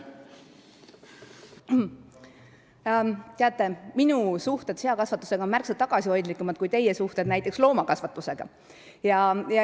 Teate, minu suhted seakasvatusega on märksa tagasihoidlikumad kui teie suhted näiteks loomakasvatusega.